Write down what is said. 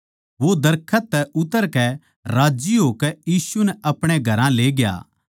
वो दरखत तै उतरकै राज्जी होकै यीशु नै अपणे घरां लेग्या